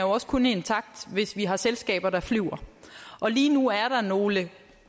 også kun intakt hvis vi har selskaber der flyver og lige nu er der nogle